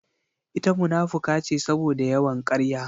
Ita munafuka ce saboda yawan karya